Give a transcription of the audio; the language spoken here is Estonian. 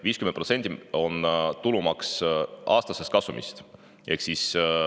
50% on tulumaks aastaselt kasumilt.